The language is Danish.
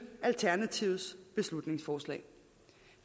alternativets beslutningsforslag